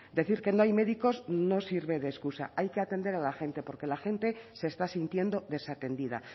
decir que no hay médicos no sirve de excusa hay que atender a la gente porque la gente se está sintiendo desatendida